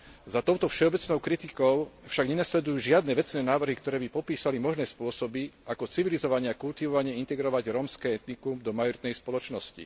Za touto všeobecnou kritikou však nenasledujú žiadne vecné návrhy, ktoré by popísali možné spôsoby ako civilizovane a kultivovane integrovať rómske etnikum do majoritnej spoločnosti.